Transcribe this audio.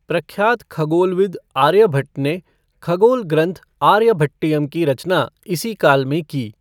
प्रख्यात खगोलविद आर्यभट्ट ने खगोल ग्रन्थ आर्यभट्टयम् की रचना इसी काल में की।